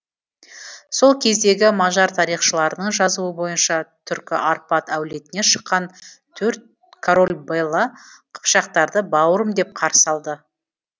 сол кездегі мажар тарихшыларының жазуы бойынша түркі арпад әулетінен шыққан төрт король бэла қыпшақтарды бауырым деп қарсы алады